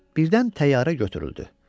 birdən təyyarə götürüldü.